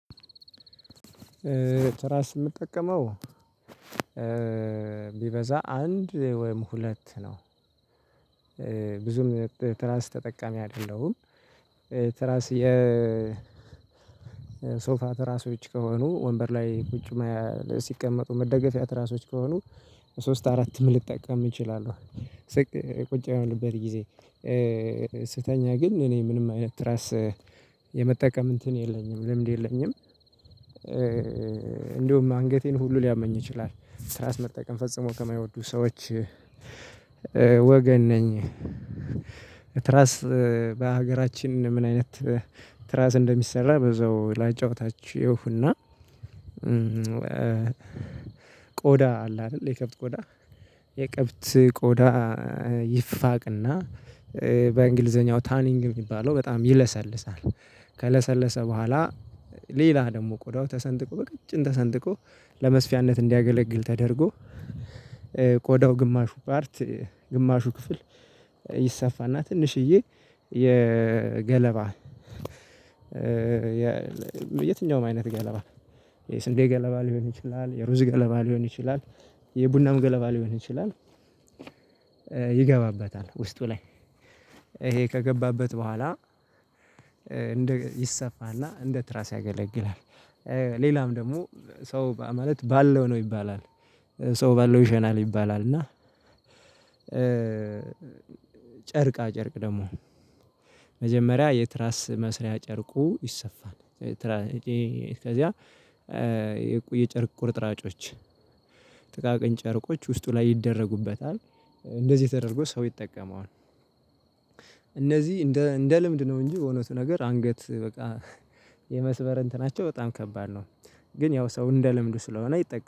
ትራስ የምጠቀመው ቢበዛ አንድ ወይም ሁለት ነው ብዙም ትራስ ተጠቃሚ አይደለሁም። ትራስ የ ሶፋ ትራሶች ከሆኑ ወንበር ላይ ቁጭ ሲቀመጡ መደገፊያ ትራሶች ከሆኑ ሶስት አራት ምን ልጠቀም እችላለሁ? ቁጭ በምልበት ጊዜ ስተኛ ግን እኔ ምንም አይነት ራስ የመጠቀም እንትን የለኝም ልምድ የለኝም። እንደውም አንገቴን ሁሉ ሊያመኝ ይችላል ትራስ መጠቀም ፈጽሞ ከማይወዱ ሰዎች ወገን ነኝ። ትራስ በሀገራችን ምን አይነት ትራስ እንደሚሰራ በዛው ላጫውታችሁ። እና ቆዳ አለ አይደል የከብት ቆዳ የከብት ቆዳ ይፋቅና በእንግሊዘኛው ታኒንግ የሚባለው በጣም ይለሰልሳል። ከለሰለሰ በኋላ ሌላ ደግሞ ቆዳው ተሰንጥቆ በቀጭን ተሰንጥቆ ለመስፊያነት እንዲያገለግል ተደርጎ። ቆዳው ግማሹ ፓርት ግማሹ ክፍል ይሰፋና ትንሽዬ የገለባ የትኛውም አይነት ገለባ የስንዴ ገለባ ሊሆን ይችላል የሩዝ ገለባ ሊሆን ይችላል የቡናም ገለባ ሊሆን ይችላል። ይገባበታል ውስጡ ላይ ይሄ ከገባበት በኋላ ይሰፋና እንደ ትራስ ያገለግላል። ሌላም ደግሞ ሰው ማለት ባለው ነው ይባላል ሰው ባለው ይሸናል ይባላል። እና ጨርቃ ጨርቅ ደግሞ መጀመሪያ የትራስ መስሪያ ጨርቁ ይሰፋል። ከዚያ የቆዬ ጨርቅ ቁርጥራጮች ጥቃቅን ጨርቆች ውስጡ ላይ ይደረጉበታል እንደዚህ ተደረጎ ሰው ይጠቀመዋል። እነዚህ እንደ እንደ ልምድ ነው እንጂ የሆነቱ ነገር አንገት በቃ የመስበር እንትናቸው በጣም ከባድ ነው። ግን ያው ሰው እንደ ልምዱ ስለሆነ ይጠቀማል